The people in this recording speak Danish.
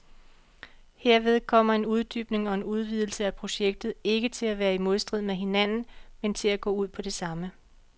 Herved kommer en uddybning og en udvidelse af projektet ikke til at være i modstrid med hinanden, men til at gå ud på det samme.